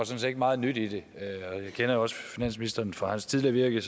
set ikke meget nyt i det jeg kender også finansministeren fra hans tidligere virke